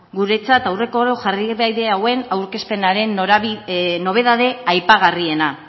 guretzat aurreko oro jarraibide hauen aurkezpenaren nobedade aipagarriena